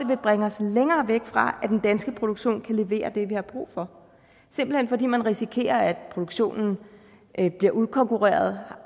vil bringe os længere væk fra at den danske produktion kan levere det vi har brug for simpelt hen fordi man risikerer at produktionen bliver udkonkurreret